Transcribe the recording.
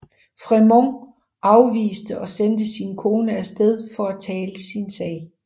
Frémont afviste og sendte sin kone af sted for at tale sin sag